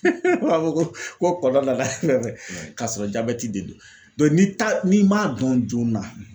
ko kɔnɔna na k'a sɔrɔ jabɛti de ni m'a dɔn joona.